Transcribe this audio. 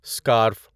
scarf